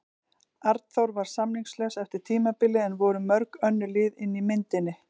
Arnþór var samningslaus eftir tímabilið en voru mörg önnur lið inni í myndinni?